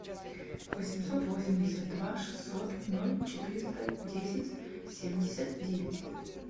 восемьсот восемьдесят два шестьсот ноль четыреста десять семьдесят девять